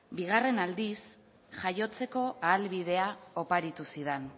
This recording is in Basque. bigarren aldiz jaiotzeko ahalbidea oparitu zidan